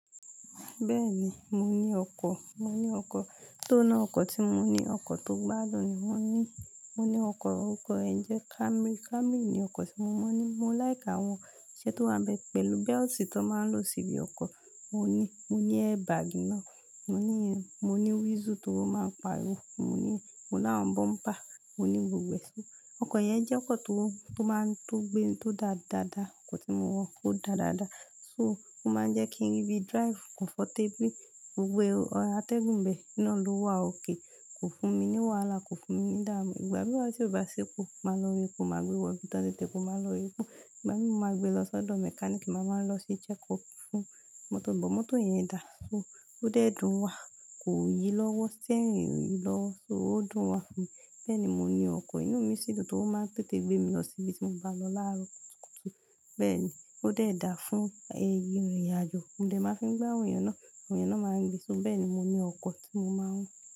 Bẹ́ẹ̀ni, mo ní ọkọ̀. Mo ní ọkọ̀, tó náà ọkọ̀ tí mo ní, ọkọ̀ tó gbádùn ni mo ní. Mo ní ọkọ̀, ọkọ̀ yẹ̀ jẹ́ Camry. Camry ni ọkọ̀ tí mo ní. Mo láìki àwọn iṣẹ́ tó wá ń bẹ pẹ̀lú belt tó máa ń lò síbi ọkọ̀, mo ní. Mo ní airbag náà, mo ní, mo ní whistle tó máa ń pariwo, mo ní, mo ní àwọn bumper, mo ní gbogbo è. Ọkọ̀ yẹn jẹ́ ọkọ̀ tó, tó máa ń tó gbé n tó da dáadáa. Ọkọ̀ tí mo wọ̀, ó da dáadáa. So, ó máa ń jẹ́ kí n ri bíi drive comfortably, gbogbo àtẹ̀gùn ìbẹ̀ náà ló wà okay. Kò fún mi ní wàhálà, kò fún mi ní ìdámu. Ìgbà mìíràn tí ó bá sepo, máa lọ ra epo, máa gbe wọ ibi tọ tin ta epo, maa lọ ra epo Ìgbà mìí mó máa gbe lọ sọ́dọ̀ mechanic, mo máa lọ ṣe check up fún mọ́tò mi. Bọ mọ́tò yẹn dà. So, ó dẹ́ẹ̀ dun wa. Kò yí lọ́wọ́, steering ẹ ò yí lọ́wọ́. So, ó dùn wa fún mi. Bẹ́ẹ̀ni, mo ní ọkọ̀ inú mi sì dun toro máa ń tètè gbé mi lọ síbi tí mo bá lọ láàárọ̀ kùtùkùtù. Bẹ́ẹ̀ ni, ó dẹ́ẹ̀ dá fún ẹ ìrìnàjò. Modẹ máa fi ń gbé àwọn èèyàn náà, àwọn èèyàn náà máa ń gbé. So bẹ́ẹ̀ ni, mo ní ọkọ̀ tí mo máa ń.